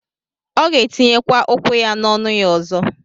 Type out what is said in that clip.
Ọ gētiye kwa ukwu-ya n'ọnu-ya ọzọ.